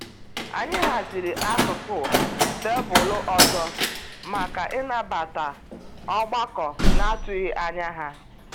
Anyị haziri akụkụ tebụlụ ọzọ maka ịnabata ọgbakọ n'atụghị ányá ha.